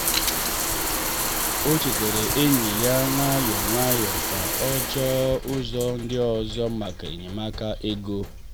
o chetara enyi ya nwayọọ nwayọọ ka ọ chọọ ụzọ ndị ọzọ maka enyemaka ego.